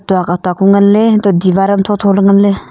tok atuk ku ngan ley hantoh ley diwar am tho tho pu ngan ley.